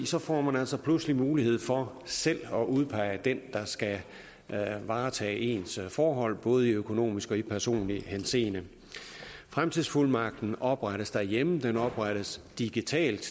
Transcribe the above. så får man altså pludselig mulighed for selv at udpege den der skal varetage ens forhold både i økonomisk og i personlig henseende fremtidsfuldmagten oprettes derhjemme og den oprettes digitalt